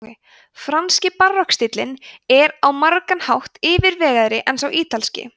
franski barokkstíllinn er á margan hátt yfirvegaðri en sá ítalski